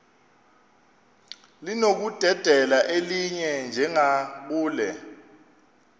linokudedela elinye njengakule